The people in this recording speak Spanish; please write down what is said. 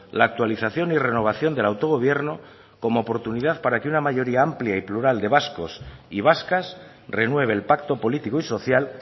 la actualización y renovación del autogobierno como oportunidad para que una mayoría amplia y plural de vascos y vascas renueve el pacto político y social